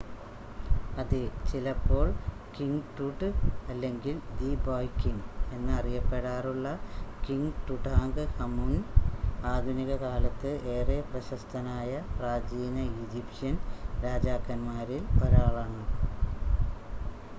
"അതെ! ചിലപ്പോൾ "king Tut" അല്ലെങ്കിൽ "ദി ബോയ് കിംങ്" എന്ന് അറിയപ്പെടാറുള്ള കിംങ് ടുടാങ്ക്ഹമുൻ ആധുനിക കാലത്ത് ഏറെ പ്രശസ്തനായ പ്രാചീന ഈജിപ്ഷ്യൻ രാജാക്കൻമാരിൽ 1 ആളാണ്